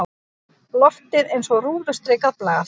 Loftið eins og rúðustrikað blað.